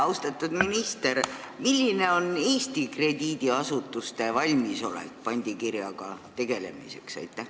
Austatud minister, milline on Eesti krediidiasutuste valmisolek pandikirjadega tegelemiseks?